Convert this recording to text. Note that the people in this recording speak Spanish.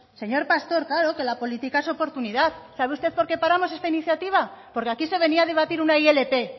señor pastor claro que la política es oportunidad sabe usted por qué paramos esta iniciativa porque aquí se venía a debatir una ilp